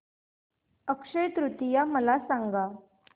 अक्षय तृतीया मला सांगा